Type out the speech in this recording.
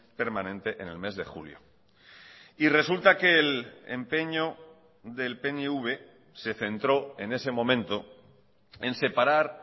permanente en el mes de julio y resulta que el empeño del pnv se centró en ese momento en separar